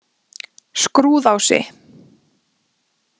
Skrúðási